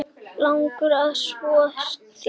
Langar að þvo sér.